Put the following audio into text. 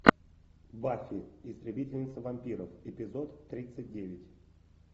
баффи истребительница вампиров эпизод тридцать девять